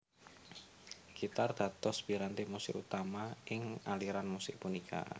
Gitar dados piranti musik utama ing aliran musik punika